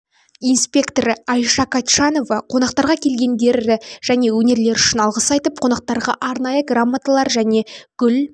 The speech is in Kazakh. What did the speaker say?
инспекторы айша катчанова қонақтарға келгендері және өнерлері үшін алғыс айтып қонақтарға арнайы грамоталар мен гүл